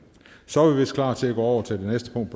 så er vi vist klar til at gå over til det næste punkt